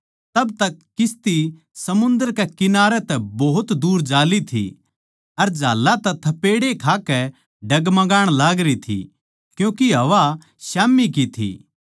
तब तक किस्ती समुन्दर कै कंठारे तै भोत दूर जा ली थी अर झाल्लां तै थपेड़े खाकै डगमगाण लागरी थी क्यूँके हवा स्याम्ही की थी